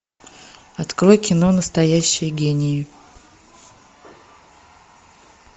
открой кино настоящие гении